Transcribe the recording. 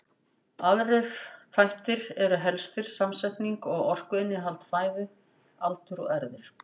Aðrir þættir eru helstir samsetning og orkuinnihald fæðu, aldur og erfðir.